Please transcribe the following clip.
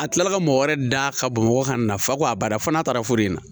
A kilala ka mɔgɔ wɛrɛ da ka bamakɔ ka na fa ko a bada fo n'a taara foro in na